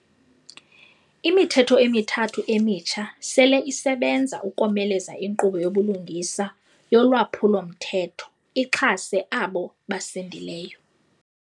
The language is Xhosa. Imithetho emithathu emitsha sele isebenza ukomeleza inkqubo yobulungisa yolwaphulo-mthetho ixhase abo basindileyo.